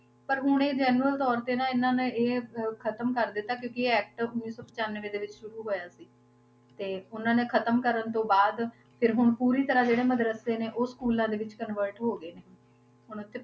ਪਰ ਹੁਣ ਇਹ genual ਤੌਰ ਤੇ ਨਾ ਇਹਨਾਂ ਨੇ ਇਹ ਅਹ ਖ਼ਤਮ ਕਰ ਦਿੱਤਾ ਕਿਉਂਕਿ ਇਹ act ਉੱਨੀ ਸੌ ਪਚਾਨਵੇਂ ਦੇ ਵਿੱਚ ਸ਼ੁਰੂ ਹੋਇਆ ਸੀ, ਤੇ ਉਹਨਾਂ ਨੇ ਖ਼ਤਮ ਕਰਨ ਤੋਂ ਬਾਅਦ ਫਿਰ ਹੁੁਣ ਪੂਰੀ ਤਰ੍ਹਾਂ ਜਿਹੜੇ ਮਦਰੱਸੇ ਨੇ ਉਹ school ਦੇ ਵਿੱਚ convert ਹੋ ਗਏ ਨੇ ਹੁਣ, ਹੁਣ ਉੱਥੇ